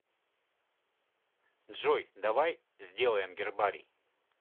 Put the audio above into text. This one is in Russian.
джой давай сделаем гербарий